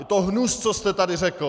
Je to hnus, co jste tady řekl!